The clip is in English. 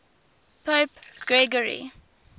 pope gregory